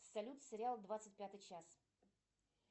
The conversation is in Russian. салют сериал двадцать пятый час